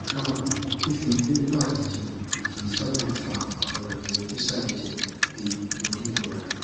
kaabo fífi vimpat jẹun kì í sábà fa àwọn àmì ṣíṣàìjẹ bíi orí ìrora